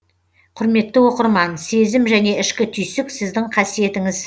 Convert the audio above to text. құрметті оқырман сезім және ішкі түйсік сіздің қасиетіңіз